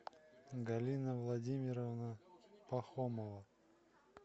галина владимировна пахомова